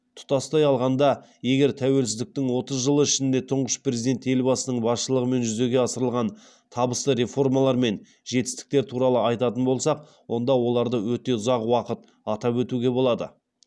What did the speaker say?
тұтастай алғанда егер тәуелсіздіктің отыз жылы ішінде тұңғыш президент елбасының басшылығымен жүзеге асырылған табысты реформалар мен жетістіктер туралы айтатын болсақ онда оларды өте ұзақ уақыт атап өтуге болады